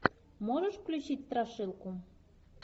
можешь включить страшилку